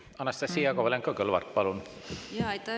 Anastassia Kovalenko-Kõlvart, palun!